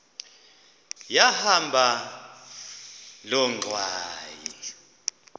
yahamba loo ngxwayi